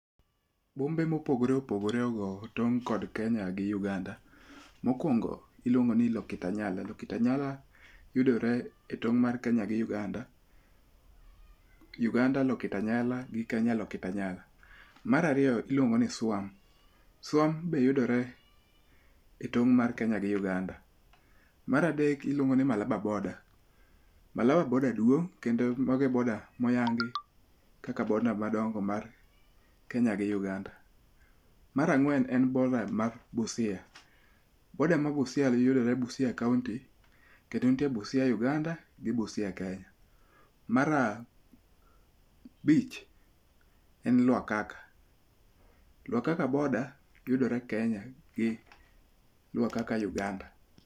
Bombe mopogore opogore ogo tong' kod Kenya gi Uganda. Mokwongo iluongo ni Lokitanyala. Lokitanyala yudore e tong' mar Kenya gi Uganda. Uganda Lokitanyala gi Kenya Lokitanyala. Mar ariyo iluongo ni Suam. Suam be yudore e tong' mar Kenya gi Uganda. Mar adek iluongo ni Malaba boda. Malaba boda duong' kendo mago e boda moyangi kaka boda madongo mar Kenya gi Uganda. Mar ang'wen en boda ma Busia. Boda ma Busia yudore Busia kaunti. Kendo nitie Busia Uganda gi Busia Kenya. Mar abich e Lwakhakha. Lwakhakha boda yudore Kenya gi Lwakhakha Uganda.